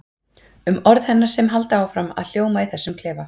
Um orð hennar sem halda áfram að hljóma í þessum klefa.